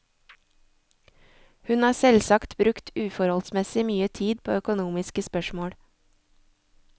Hun har selvsagt brukt uforholdsmessig mye tid på økonomiske spørsmål.